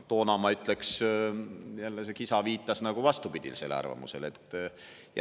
Toona, ma ütleks, jälle see kisa viitas vastupidisele arvamusele.